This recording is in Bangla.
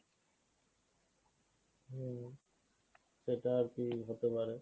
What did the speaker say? হম সেটা আরকি হতে পারে।